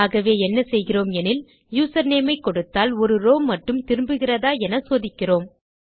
ஆகவே என்ன செய்கிறோம் எனில் யூசர்நேம் ஐ கொடுத்தால் ஒரு ரோவ் மட்டும் திரும்புகிறதா என சோதிக்கிறோம்